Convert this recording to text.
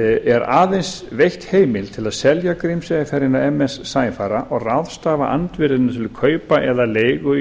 er aðeins veitt heimild til að selja grímseyjarferjuna með leyfi forseta er aðeins veitt heimild til að selja grímseyjarferjuna ms sæfara og ráðstafa andvirðinu til kaupa eða leigu